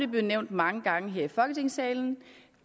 blevet nævnt mange gange her i folketingssalen